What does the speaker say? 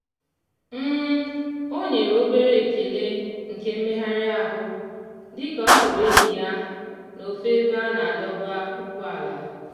ọ nyere obere ekele nke mmegharịahụ dị ka ọ hụrụ enyi ya n'ofe ebe a na-adọba ụgbọala.